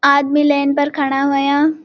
आदमी लैन पर खड़ा होयां।